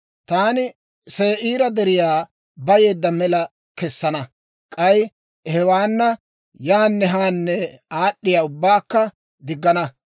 Taani Se'iira deriyaa bayeedda mela kessana; k'ay hewaana yaanne haanne aad'd'iyaa ubbaakka diggana.